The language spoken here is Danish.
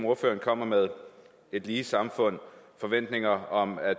ordføreren kommer med et lige samfund forventninger om at